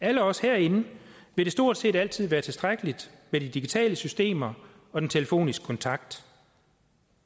alle os herinde vil det stort set altid være tilstrækkeligt med de digitale systemer og den telefoniske kontakt